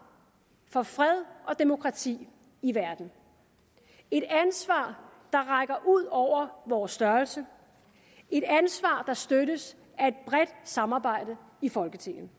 for fred og demokrati i verden et ansvar der rækker ud over vores størrelse et ansvar der støttes af et bredt samarbejde i folketinget